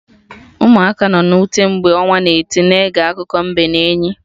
Ụmụaka nọ na ute, mgbe ọnwa na-eti, na-ege akụkọ mbe and enyi